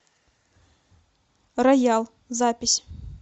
роял запись